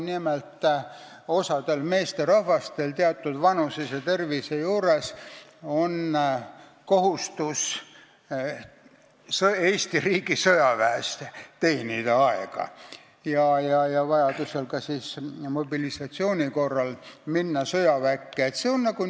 Nimelt, osal meesterahvastel on teatud vanuses ja tervetena kohustus Eesti riigi sõjaväes aega teenida ja vajadusel, mobilisatsiooni korral ka sõjaväkke minna.